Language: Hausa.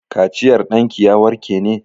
Kaciyar ɗanki ya warke ne?